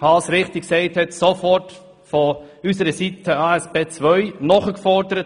Danach wurde von unserer Seite sofort ASP II eingefordert.